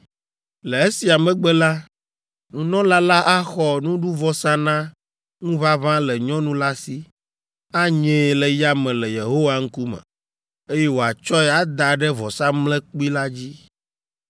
Le esia megbe la, nunɔla la axɔ nuɖuvɔsa na ŋuʋaʋã le nyɔnu la si, anyee le yame le Yehowa ŋkume, eye wòatsɔe ada ɖe vɔsamlekpui la dzi.